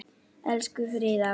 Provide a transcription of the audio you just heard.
Elsku Fríða.